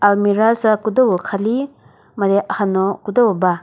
almirah sa küdo khali made hano küdo ba.